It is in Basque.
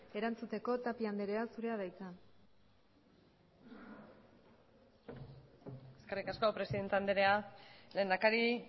erantzuteko tapia andrea zurea da hitza eskerrik asko presidente andrea lehendakari